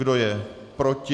Kdo je proti?